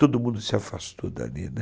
Todo mundo se afastou dali, né.